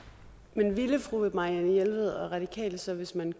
men ville fru marianne jelved og radikale så hvis man